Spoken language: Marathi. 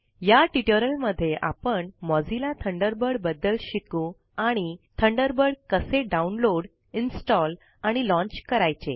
या ट्यूटोरियल मध्ये आपणMozilla थंडरबर्ड बद्दल शिकू आणि थंडरबर्ड कसे डाउनलोड इंस्टाल आणि लॉंन्च करायचे